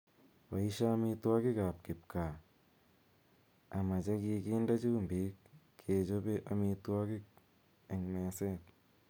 Boishee amitwogik ap kipkaa �ama chegakinde chumbiik kechopee amitwogik eng meseet.